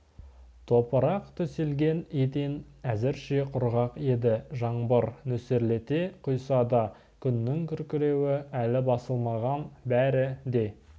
топырақ төселген еден әзірше құрғақ еді жаңбыр нөсерлете құйса да күннің күркіреуі әлі басылмаған бәрі де